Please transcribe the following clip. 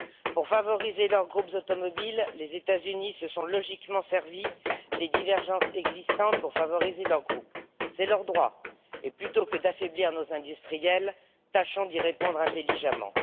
Pour favoriser leurs groupes automobiles, les États Unis se sont logiquement servi des divergences existantes, c'est leur droit. Plutôt que d'affaiblir nos industriels, tâchons de répondre intelligemment.